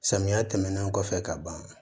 Samiya tɛmɛnen kɔfɛ ka ban